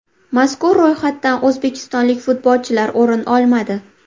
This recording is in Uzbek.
Mazkur ro‘yxatdan o‘zbekistonlik futbolchilar o‘rin olmadi.